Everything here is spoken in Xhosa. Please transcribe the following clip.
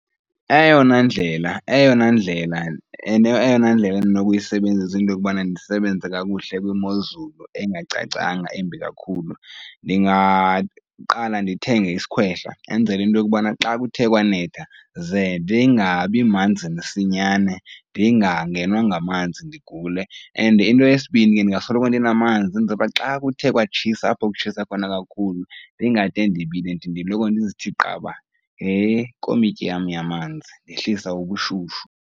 Eyona ndlela, eyona ndlela, eyona ndlela endinokuyisebenzisa into yokubana ndisebenze kakuhle kwimozulu engacacanga, embi kakhulu, ndingaqala ndithenge isikhwehla enzela into yokubana xa kuthe kwanetha ze ndingabi manzi msinyane ndingangenwa ngamanzi ndigule. And into yesibini ke, ndingasoloko ndinamanzi kwenzela uba xa kuthe kwatshisa apho kutshisa khona kakhulu ndingade ndibile ndiloko ndizithi qaba ngekomityi yam yamanzi, yehlisa ubushushu.